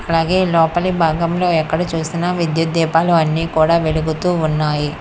అలాగే లోపలి భాగంలో ఎక్కడ చూసినా విద్యుత్ దీపాలు అన్నీ కూడా వెలుగుతూ ఉన్నాయి